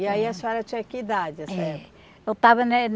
E aí a senhora tinha que idade, a senhora? É, eu estava né